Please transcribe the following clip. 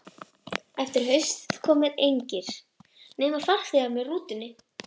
Eftir að haustaði komu engir, nema farþegar með rútunni.